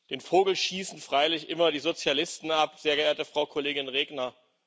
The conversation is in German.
Den Vogel schießen freilich immer die Sozialisten ab, sehr geehrte Frau Kollegin Regner.